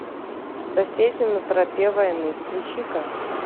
соседи на тропе войны включи ка